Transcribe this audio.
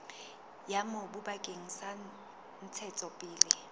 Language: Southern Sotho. ya mobu bakeng sa ntshetsopele